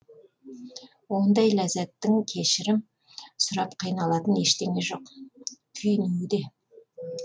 ондай ләззаттың кешірім сұрап қиналатын ештеңе жоқ күйінуі де